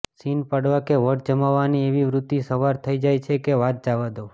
scene પાડવા કે વટ જમાવવાની એવી વૃત્તિ સવાર થઈ જાય છે કે વાત જવા દો